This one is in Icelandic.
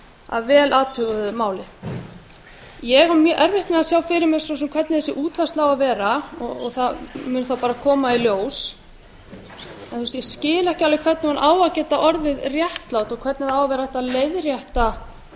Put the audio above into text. að vel athuguðu máli ég á mjög erfitt með að sjá fyrir mér hvernig þessi útfærsla á að vera það kemur þá bara í ljós ég skil ekki alveg hvernig hún á að geta orðið réttlát og hvernig það á að vera hægt að leiðrétta